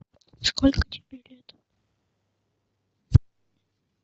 сколько тебе лет